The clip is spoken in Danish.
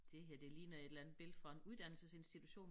Det her det ligner et eller andet billede fra en uddannelsesinstitution